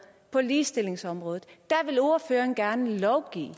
på ligestillingsområdet vil ordføreren gerne lovgive